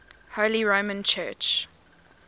holy roman church